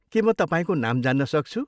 के म तपाईँको नाम जान्न सक्छु?